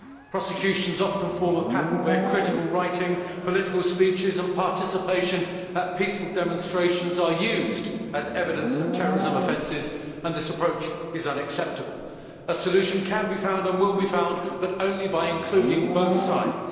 Prosecutions often form a pattern where critical writing, political speeches and participation at peaceful demonstrations are used as evidence of terrorism offences, and this approach is unacceptable. A solution can be found and will be found, but only by including both sides.